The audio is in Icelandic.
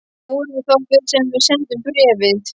Það voruð þá þið sem senduð bréfið?